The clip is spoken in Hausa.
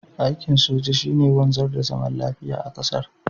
aikin soja shi ne wanzar da zaman lafiya da zaman lafiya a ƙasar